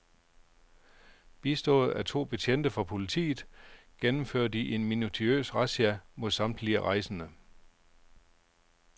Bistået af to betjente fra politiet gennemfører de en minutiøs razzia mod samtlige rejsende.